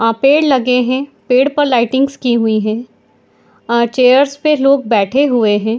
आ पेड़ लगे है पेड़ पे लाइटिंग्स की हुई है आ चेयर्स पे लोग बैठे हुए है।